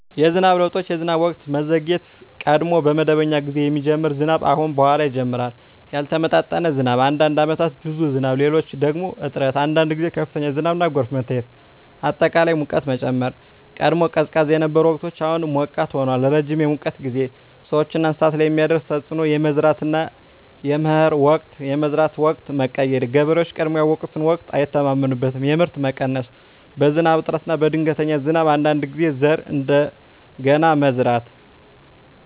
የዝናብ ለውጦች የዝናብ ወቅት መዘግየት – ቀድሞ በመደበኛ ጊዜ የሚጀምር ዝናብ አሁን በኋላ ይጀምራል ያልተመጣጠነ ዝናብ – አንዳንድ ዓመታት ብዙ ዝናብ፣ ሌሎች ደግሞ እጥረት አንዳንድ ጊዜ ከፍተኛ ዝናብና ጎርፍ መታየት አጠቃላይ ሙቀት መጨመር – ቀድሞ ቀዝቃዛ የነበሩ ወቅቶች አሁን ሞቃት ሆነዋል ረጅም የሙቀት ጊዜ – ሰዎችና እንስሳት ላይ የሚያደርስ ተፅዕኖ የመዝራትና የመከር ወቅት የመዝራት ወቅት መቀየር – ገበሬዎች ቀድሞ ያውቁትን ወቅት አይተማመኑበትም የምርት መቀነስ – በዝናብ እጥረት ወይም በድንገተኛ ዝናብ አንዳንድ ጊዜ ዘር እንደገና መዝራት